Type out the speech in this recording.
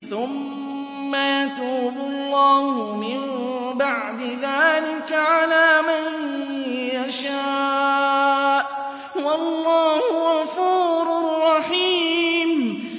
ثُمَّ يَتُوبُ اللَّهُ مِن بَعْدِ ذَٰلِكَ عَلَىٰ مَن يَشَاءُ ۗ وَاللَّهُ غَفُورٌ رَّحِيمٌ